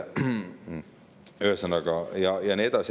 Ühesõnaga, ja nii edasi ja nii edasi.